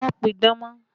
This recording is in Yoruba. Má pidán mọ́!